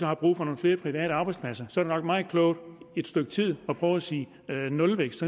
har brug for nogle flere private arbejdspladser så er det nok meget klogt i et stykke tid at prøve at sige nulvækst